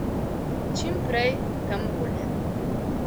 Čim prej, tem bolje.